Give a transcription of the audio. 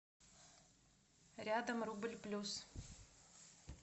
рядом рубль плюс